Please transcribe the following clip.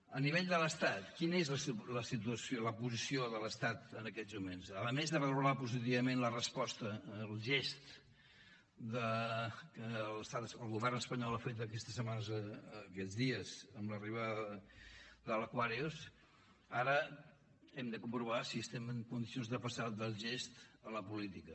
a nivell de l’estat quina és la situació la posició de l’estat en aquests moments a més de valorar positivament la resposta el gest que l’estat el govern espanyol ha fet aquestes setmanes aquests dies amb l’arribada de l’provar si estem en condicions de passar del gest a la política